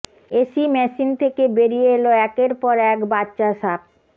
AC machine থেকে বেরিয়ে এল একের পর এক বাচ্চা সাপ